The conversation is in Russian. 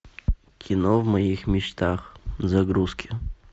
кино в моих мечтах загрузки